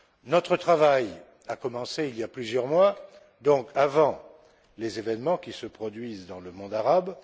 Notre travail a commencé il y a plusieurs mois, donc avant les événements qui se produisent dans le monde arabe.